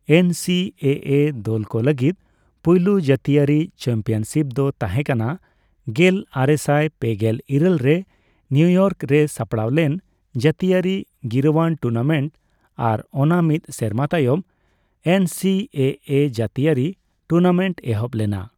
ᱮᱱ C A A ᱫᱚᱞᱠᱚ ᱞᱟᱹᱜᱤᱫ ᱯᱩᱭᱞᱩ ᱡᱟᱹᱛᱤᱭᱟᱹᱨᱤ ᱪᱟᱢᱯᱤᱭᱚᱱᱥᱤᱯ ᱫᱚ ᱛᱟᱸᱦᱮ ᱠᱟᱱᱟ ᱜᱮᱞ ᱟᱨᱮᱥᱟᱭ ᱯᱮᱜᱮᱞ ᱤᱨᱟᱹᱞ ᱨᱮ ᱱᱤᱭᱩᱼᱤᱭᱚᱨᱠ ᱨᱮ ᱥᱟᱯᱲᱟᱣ ᱞᱮᱱ ᱡᱟᱹᱛᱤᱭᱟᱹᱨᱤ ᱜᱤᱨᱟᱹᱣᱟᱱ ᱴᱩᱨᱱᱟᱢᱮᱱᱴ ᱟᱨ ᱚᱱᱟ ᱢᱤᱫ ᱥᱮᱨᱢᱟ ᱛᱟᱭᱚᱢ ᱮᱱ ᱥᱤ ᱮ ᱮ ᱡᱟᱹᱛᱤᱭᱟᱹᱨᱤ ᱴᱩᱨᱱᱟᱢᱮᱱᱴ ᱮᱦᱚᱵ ᱞᱮᱱᱟ ᱾